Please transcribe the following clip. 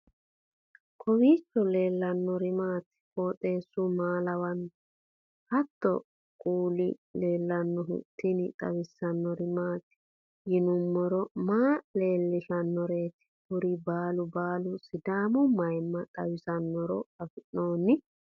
kowiicho leellannori maati ? qooxeessu maa lawaanno ? hiitoo kuuli leellanno ? tini xawissannori maati yinummoro maa leeellishshannoreeti kuri baalu baalu sidaamu mayimma xawisannoro affinnoonni